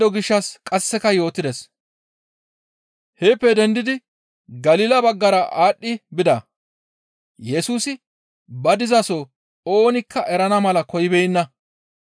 Heeppe dendidi Galila baggara aadhdhi bida; Yesusi ba dizaso oonikka erana mala koyibeenna.